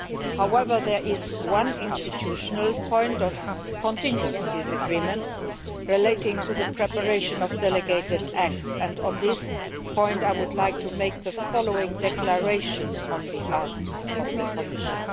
However, there is one institutional point of continued disagreement relating to the preparation of delegated acts, and on this point I would like to make the following declaration on behalf of the Commission.